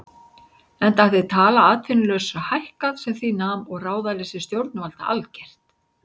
Enda hafði tala atvinnulausra hækkað sem því nam og ráðaleysi stjórnvalda algert.